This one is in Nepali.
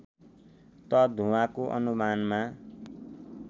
त धुवाँको अनुमानमा